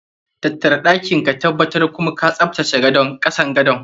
Tattara ɗakin ka tabbtar kum ka tsaftace kasan gadon.